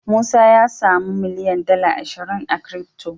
Musa a samu miliyan dala ashiria crty